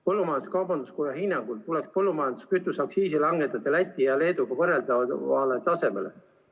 Põllumajandus-kaubanduskoja hinnangul tuleks põllumajanduskütuse aktsiis langetada Läti ja Leeduga võrreldavale tasemele.